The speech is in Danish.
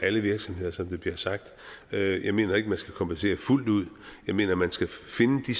alle virksomheder som det bliver sagt jeg mener ikke at man skal kompensere fuldt ud jeg mener at man skal finde de